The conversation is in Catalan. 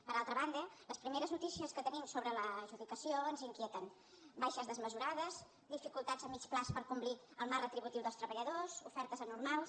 per altra banda les primeres notícies que tenim sobre l’adjudicació ens inquieten baixes desmesurades dificultats a mitjà termini per complir el marc retributiu dels treballadors ofertes anormals